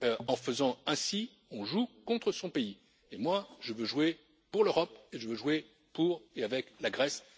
En faisant ainsi, on joue contre son pays et moi, je veux jouer pour l'Europe et je veux jouer pour et avec la Grèce.